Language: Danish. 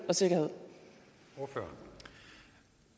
og siger er